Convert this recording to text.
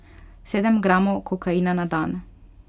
Sedem gramov kokaina na dan.